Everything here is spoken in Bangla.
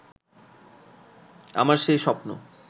আমার সেই স্বপ্ন